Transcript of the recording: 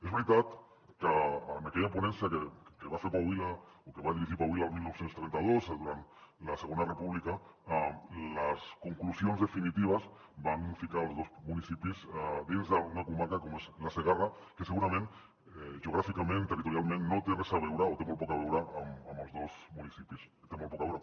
és veritat que en aquella ponència que va fer pau vila o que va dirigir pau vila el dinou trenta dos durant la segona república les conclusions definitives van ficar els dos municipis dins d’una comarca com és la segarra que segurament geogràficament territorialment no té res a veure o té molt poc a veure amb els dos municipis hi té molt poc a veure